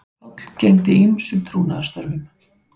Páll gegndi ýmsum trúnaðarstörfum